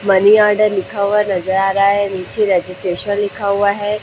Money order लिखा हुआ नजर आ रहा है नीचे रजिस्ट्रेशन लिखा हुआ है।